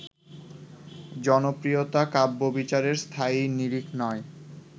জনপ্রিয়তা কাব্যবিচারের স্থায়ী নিরিখ নয়